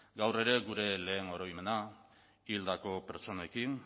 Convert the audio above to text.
gaur ere gure lehen oroimena hildako pertsonekin